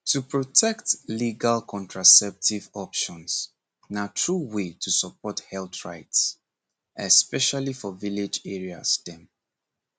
to protect legal contraceptive options na true way to support health rights especially for village areas dem